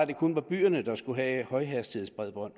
det kun var byerne der skulle have højhastighedsbredbånd